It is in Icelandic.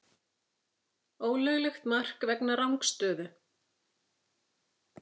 Ólöglegt mark vegna rangstöðu?